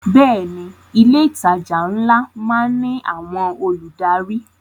Bẹ́ẹ̀ ni, ilé ìtajà ńlá má ń ní àwọn olùdarí